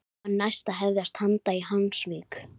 Þá var næst að hefjast handa í Hvammsvík.